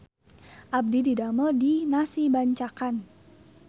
Abdi didamel di Nasi Bancakan